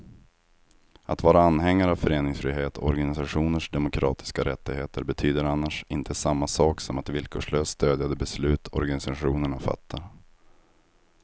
Att vara anhängare av föreningsfrihet och organisationers demokratiska rättigheter betyder annars inte samma sak som att villkorslöst stödja de beslut organisationerna fattar.